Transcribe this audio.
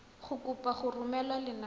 go kopa go romela lenane